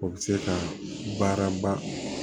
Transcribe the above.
O bɛ se ka baara ba